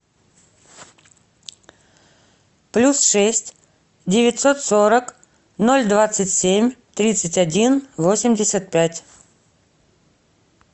плюс шесть девятьсот сорок ноль двадцать семь тридцать один восемьдесят пять